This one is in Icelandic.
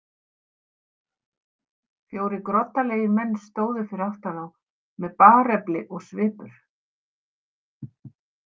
Fjórir groddalegir menn stóðu fyrir aftan þá með barefli og svipur.